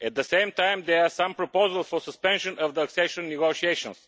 At the same time, there are some proposals for the suspension of the accession negotiations.